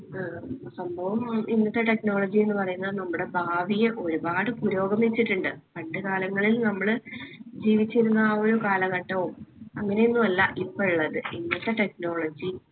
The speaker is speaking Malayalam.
ഏർ സംഭവമാണ് ഇന്നത്തെ technology എന്ന് പറയ്ന്നത് നമ്മടെ ഭാവിയെ ഒരുപാട് പുരോഗമിച്ചിട്ടിണ്ട്. പണ്ട് കാലങ്ങളിൽ നമ്മള് ജീവിച്ചിരുന്ന ആ ഒരു കാലഘട്ടവും അങ്ങനെയൊന്നും അല്ല ഇപ്പൊ ഇള്ളത് ഇന്നത്തെ technology